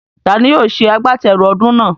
Taani yóò ṣe àgbátẹrù ọdún náà?